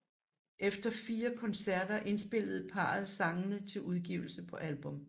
Efter fire koncerter indspillede parret sangene til udgivelse på album